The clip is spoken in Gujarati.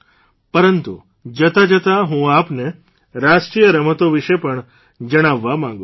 પરંતુ જતાં જતાં હું આપને રાષ્ટ્રીય રમતો વિશે પણ જણાવવા માંગું છું